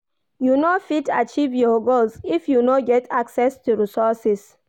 You no fit achieve your goals if you no get access to resources.